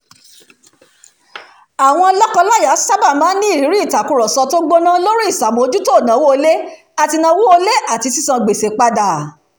àwọn lọ́kọ-láya sábà máa ń ní ìrírí ìtàkurọ̀sọ tó gbóná lórí ìṣàmójútó ìnáwó ilé àti ìnáwó ilé àti sísan gbèsè padà